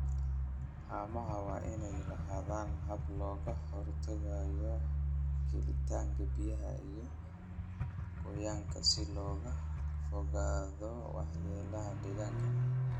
Haamaha waa inay lahaadaan habab looga hortagayo gelitaanka biyaha iyo qoyaanka si looga fogaado waxyeelada deegaanka